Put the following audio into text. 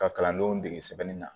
Ka kalandenw dege sɛbɛnni na